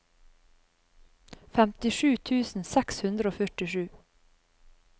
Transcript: femtisju tusen seks hundre og førtisju